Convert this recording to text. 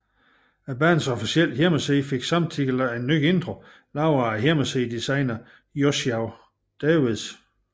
Bandets officielle hjemmeside fik samtidig en ny intro lavet af hjemmesidedesigneren Joshua Davis